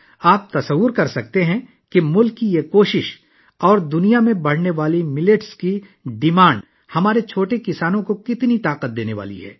آپ اندازہ لگا سکتے ہیں کہ ملک کی یہ کوشش اور دنیا میں جوار کی بڑھتی ہوئی مانگ ہمارے چھوٹے کسانوں کو تقویت دینے والی ہے